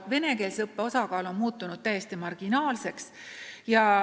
Venekeelse õppe osakaal on muutunud täiesti marginaalseks.